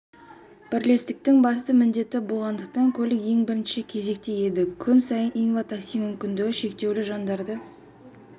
бірлестіктің басты міндеті болғандықтан көлік ең бірінші кезекте еді күн сайын инва-такси мүмкіндігі шектеулі жандарды